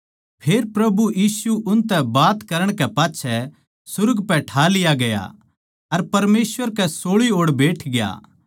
फेर प्रभु यीशु उनतै बात करण कै पाच्छै सुर्ग पै ठा लिया गया अर परमेसवर कै सोळी ओड़ बैठग्या